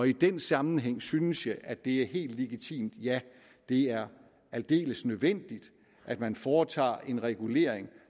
i den sammenhæng synes jeg at det er helt legitimt ja at det er aldeles nødvendigt at man foretager en regulering